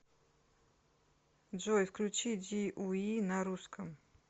джой включи ди уи на русском